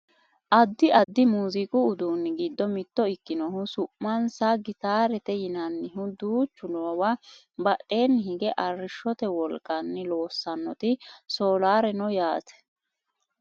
Addi addi muziiqu uduunni giddo mitto ikkinohu su'mansa gitaarete yinannihu duuchu noowa badheenni higge arrishshote wolqanni loossannoti soolaare no yaate